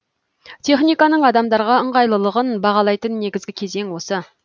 техниканың адамдарға ыңғайлылығын бағалайтын негізгі кезең осы